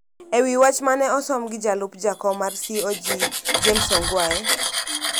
E wach ma ne osom gi jalup jakom mar CoG, James Ongwae,